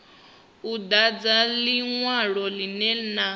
u dadza linwalo linwe na